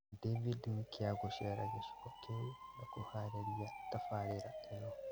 David Nkya gũcera gĩcigo kĩu na kũharĩrĩria tabarĩra ĩno